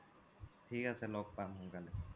থিক আছে ল'গ পাম সোন্কালে